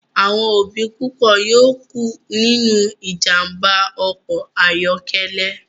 Awọn obi pupo yoo ku ninu ijamba ọkọ ayọkẹlẹ